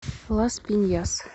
лас пиньяс